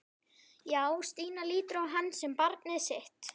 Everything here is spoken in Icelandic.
Já, Stína lítur á hann sem barnið sitt.